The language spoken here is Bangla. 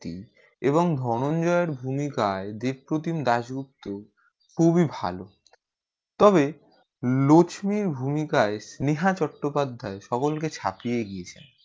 এবং ধনঞ্জয় এর ভূমিকায় দেবপ্রতিম দাসগুপ্ত খুব ই ভালো তবে লক্সমী ভূমিকায় নেহা চট্টপাধ্যায় সকল কে ছাপিয়ে দিয়েছে